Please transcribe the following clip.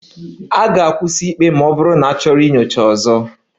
A ga-akwụsị ikpe ma ọ bụrụ na achọrọ nyocha ọzọ